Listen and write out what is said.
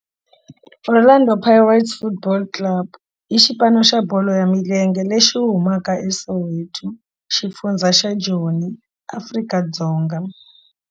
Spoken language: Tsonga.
Orlando Pirates Football Club i xipano xa bolo ya milenge lexi humaka eSoweto, xifundzha xa Joni, Afrika-Dzonga.